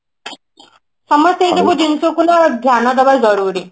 ସମସ୍ତଙ୍କର ଜିନିଷକୁ ନା ଧ୍ୟାନ ଦେବା ଜରୁରୀ